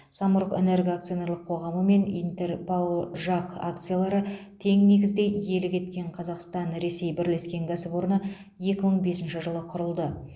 самұрық энерго акционерлік қоғамы мен интер рао жақ акциялары тең негізде иелік еткен қазақстан ресей бірлескен кәсіпорны екі мың бесінші жылы құрылды